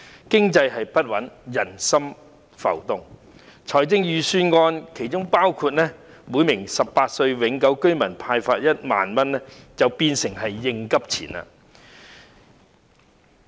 經濟不穩，人心浮動，故此預算案建議向每名18歲或以上永久性居民派發的1萬元，便成為應急錢。